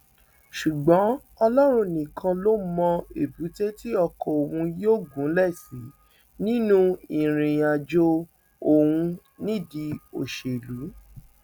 ṣùgbọn ọlọrun nìkan ló mọ èbúté tí ọkọ òun yóò gúnlẹ sí nínú ìrìnàjò òun nídìí òṣèlú